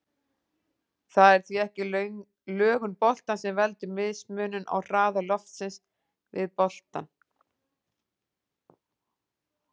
Það er því ekki lögun boltans sem veldur mismun á hraða loftsins við boltann.